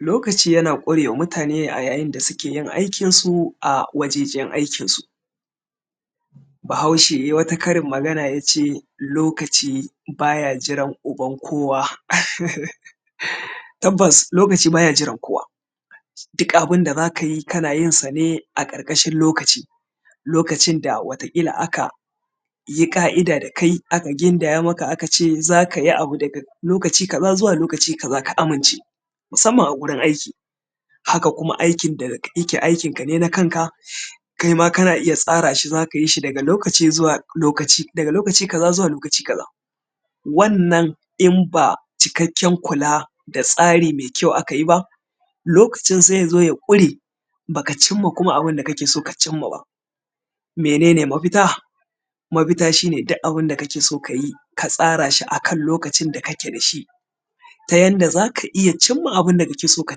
lokaci yana ƙure wa mutane a yayin da suke aikinsu a wajejen aikinsu bahaushe yai wata karin magana ya ce lokaci ba ya jiran uban kowa tabbas lokaci ba ya jiran kowa duk abunda za ka yi kana yin sa ne a ƙarƙashin lokaci lokacin da wata ƙila aka yi ƙa'ida da kai aka gindaya maka aka ce za ka yi abu daga lokaci kaza zuwa lokaci kaza ka amince musamman a gurin aiki haka kuma aikin da yake aiki ka ne na kanka kaima kana iya tsara shi za ka yi shi daga lokaci zuwa lokaci daga lokaci kaza zuwa lokaci kaza wannan inba cikakken kula da tsari mai kyau aka yi ba lokacin sai ya zo ya ƙure bakacin ma kuma abunda kake so ka cin ma wa ba mene ne mafita mafita shi ne duk abunda kake so ka yi ka tsara shi a kan lokacin da ka ke da shi ta yadda za ka iya cimma abunda kake so ka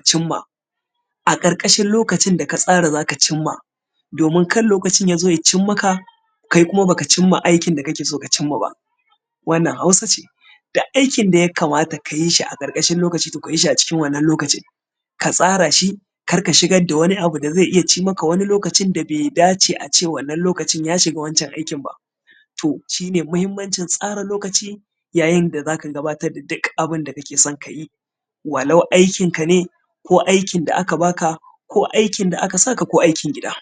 cimma a ƙarƙashin lokaci da ka tsara za ka cimma domin kar lokacin ya zo ya cin maka kai kuma baka cimma aikin da kake so ka cimma ba wannan hausa ce aikin da ya kamata ka yi shi a ƙarƙashin lokaci to ka yi shi a cikin wannan lokacin ka tsara shi kar ka shigar da wani abu da zai iya cimmaka wani lokaci da bai dace a ce wannan lokacin ya shiga wancan aikin ba to shi ne muhimmanci tsara lokacin yayin da za ka gabatar da duk abinda kake so ka yi walau aikin ka ne ko aikin da aka baka ko aikin da aka saka ko aikin gida